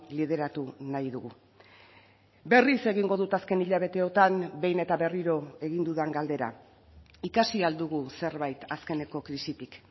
lideratu nahi dugu berriz egingo dut azken hilabeteotan behin eta berriro egin dudan galdera ikasi ahal dugu zerbait azkeneko krisitik